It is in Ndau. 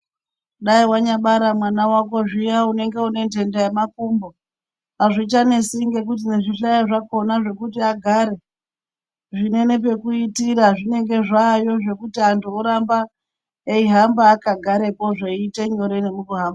Dai wanyabara mwana wako zviya unenge une ndenda yemakumbo azvichanesi ngekuti nezvihlayo zvakona zvekuti agare zvinenepekuitira zvinenge zvaayo zvekuti antu oramba eihamba agarepo zveiite nyore nemukuhamba.